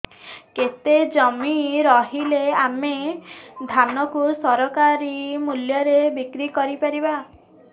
କେତେ ଜମି ରହିଲେ ଆମେ ଧାନ କୁ ସରକାରୀ ମୂଲ୍ଯରେ ବିକ୍ରି କରିପାରିବା